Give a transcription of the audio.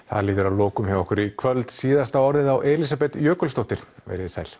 það líður að lokum hjá okkur í kvöld síðasta orðið á Elísabet Jökulsdóttir veriði sæl